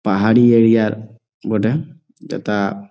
পাহাড়ি এরিয়া র বটে। যথা--